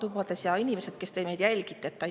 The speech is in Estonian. inimesed, kes te meid jälgite!